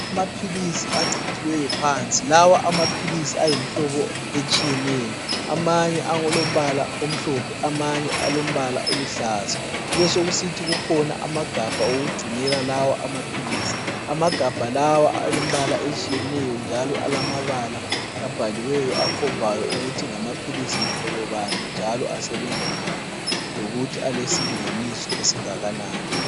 Amaphilisi achithiweyo phansi. Lawa amaphilisi ayimhlobo etshiyeneyo. Amanye alombala omhlophe amanye alombala oluhlaza. Kubesekusithi kukhona amagabha okugcinela lawo maphilisi. Amagabha lawa alembala etshiyeneyo njalo alamabala abhaliweyo akhombayo ukuthi ngamaphilisi mhlobo bani njalo asebenza njani lokuthi alesilinganiso esingakanani.